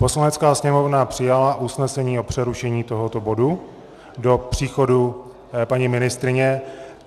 Poslanecká sněmovna přijala usnesení o přerušení tohoto bodu do příchodu paní ministryně.